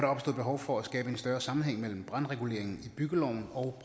behov for at skabe en større sammenhæng mellem brandreguleringen i byggeloven og